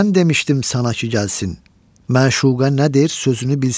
Mən demişdim sana ki gəlsin, məşuqə nədir, sözünü bilsin.